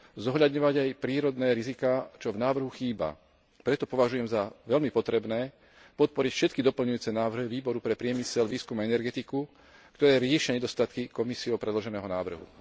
zohľadňovať aj prírodné riziká, čo v návrhu chýba. Preto považujem za veľmi potrebné podporiť všetky doplňujúce návrhy Výboru pre priemysel, výskum a energetiku, ktoré riešia nedostatky Komisiou predloženého návrhu.